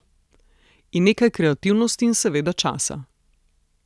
In nekaj kreativnosti in seveda časa.